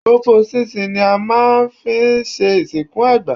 Pọ̀pọ̀ ṣìnṣìn ni a máa ń fi ń ṣe ìsìnkú àgbà.